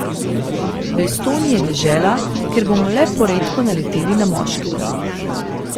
V Estoniji je dežela, kjer bomo le poredko naleteli na moškega.